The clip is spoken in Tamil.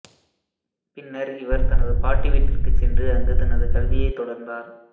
பின்னர் இவர் தனது பாட்டி வீட்டிற்கு சென்று அங்கு தனது கல்வியை தொடர்ந்தார்